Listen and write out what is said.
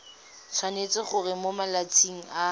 tshwanetse gore mo malatsing a